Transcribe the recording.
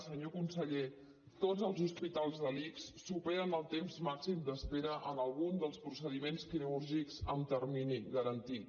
senyor conseller tots els hospitals de l’ics superen el temps màxim d’espera en algun dels procediments quirúrgics amb termini garantit